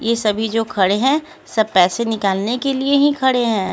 ये सभी जो खड़े हैं सब पैसे निकालने के लिए ही खड़े हैं।